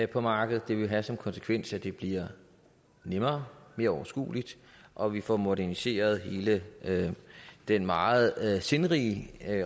på markedet og det vil have som konsekvens at det bliver nemmere og mere overskueligt og vi får moderniseret hele den meget sindrige